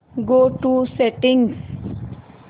go to settings